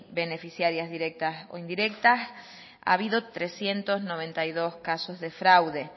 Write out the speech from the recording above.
beneficiarias directas o indirectas ha habido trescientos noventa y dos casos de fraude